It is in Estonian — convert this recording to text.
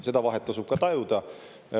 Seda vahet tasub ka tajuda.